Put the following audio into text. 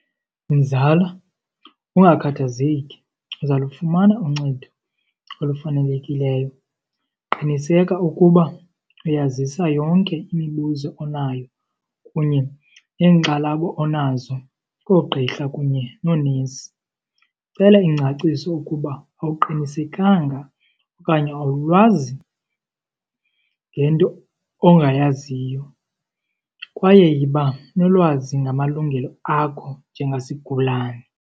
Mzala, ungakhathazeki uzalufumana uncedo olufanelekileyo. Qiniseka ukuba uyazisa yonke imibuzo onayo kunye neenkxalabo onazo koogqirha kunye noonesi. Cela ingcaciso ukuba awuqinisekanga okanye awulwazi ngento ongayaziyo kwaye yiba nolwazi ngamalungelo akho njengasigulane.